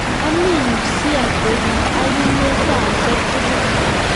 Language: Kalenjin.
ami u si atebi ak inye saishek tugul